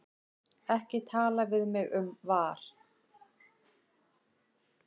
Ekki tala við mig um VAR.